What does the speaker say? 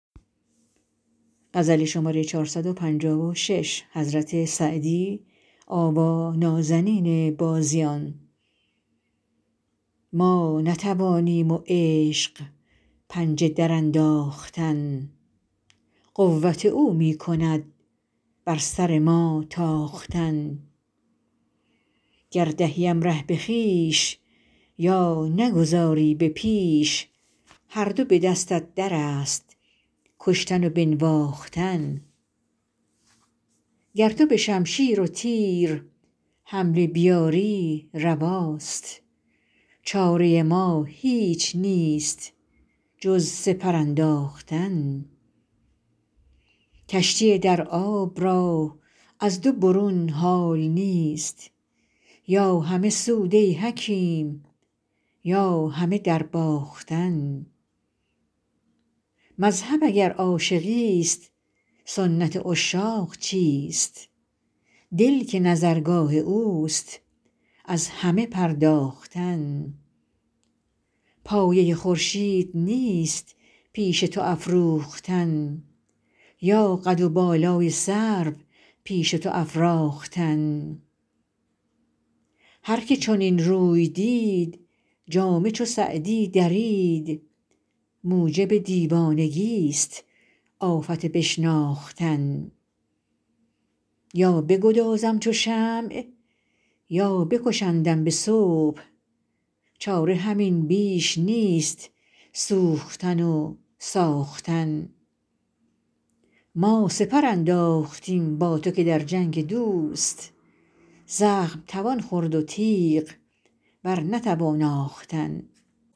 ما نتوانیم و عشق پنجه درانداختن قوت او می کند بر سر ما تاختن گر دهیم ره به خویش یا نگذاری به پیش هر دو به دستت در است کشتن و بنواختن گر تو به شمشیر و تیر حمله بیاری رواست چاره ما هیچ نیست جز سپر انداختن کشتی در آب را از دو برون حال نیست یا همه سود ای حکیم یا همه درباختن مذهب اگر عاشقیست سنت عشاق چیست دل که نظرگاه اوست از همه پرداختن پایه خورشید نیست پیش تو افروختن یا قد و بالای سرو پیش تو افراختن هر که چنین روی دید جامه چو سعدی درید موجب دیوانگیست آفت بشناختن یا بگدازم چو شمع یا بکشندم به صبح چاره همین بیش نیست سوختن و ساختن ما سپر انداختیم با تو که در جنگ دوست زخم توان خورد و تیغ بر نتوان آختن